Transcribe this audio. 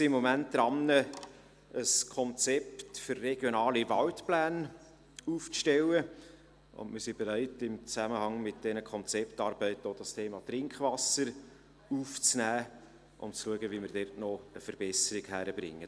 Wir sind im Moment daran, ein Konzept für die RWP auszuarbeiten, und wir sind bereit, im Zusammenhang mit diesen Konzeptarbeiten auch das Thema Trinkwasser aufzunehmen und zu schauen, wie wir diesbezüglich noch eine Verbesserung hinkriegen.